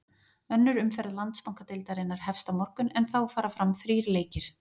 Önnur umferð Landsbankadeildarinnar hefst á morgun en þá fara fram þrír leikir.